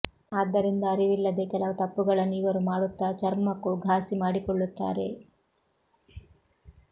ಆದ್ದರಿಂದ ಅರಿವಿಲ್ಲದೇ ಕೆಲವು ತಪ್ಪುಗಳನ್ನು ಇವರು ಮಾಡುತ್ತಾ ಚರ್ಮಕ್ಕೂ ಘಾಸಿ ಮಾಡಿಕೊಳ್ಳುತ್ತಾರೆ